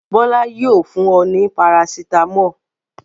Bọ́lá yóò fun ọ ní parasítámọ̀.